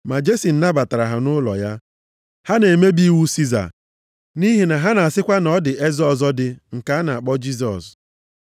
Ma Jesin nabatara ha nʼụlọ ya. Ha na-emebi iwu Siza nʼihi na ha na-asịkwa na ọ dị eze ọzọ dị nke a na-akpọ Jisọs.”